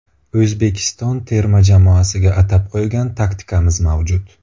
O‘zbekiston terma jamoasiga atab qo‘ygan taktikamiz mavjud.